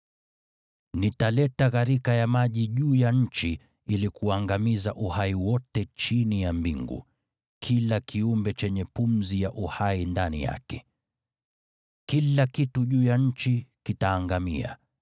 Nitaleta gharika ya maji juu ya nchi ili kuangamiza uhai wote chini ya mbingu, kila kiumbe chenye pumzi ya uhai ndani yake. Kila kitu juu ya nchi kitaangamia.